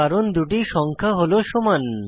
কারণ দুটি সংখ্যা হল সমান